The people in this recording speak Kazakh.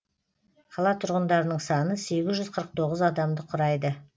қала тұрғындарының саны сегіз жүз қырық тоғыз адамды құрайды